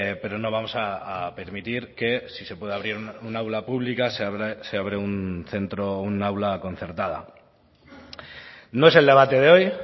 pero no vamos a permitir que si se puede abrir un aula pública se abre un centro un aula concertada no es el debate de hoy